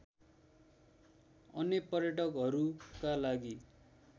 अन्य पर्यटकहरूका लागि